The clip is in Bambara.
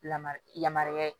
Lamara yamaruya ye